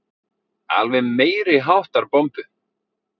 Alveg meiriháttar bombu.